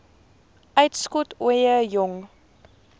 uitskot ooie jong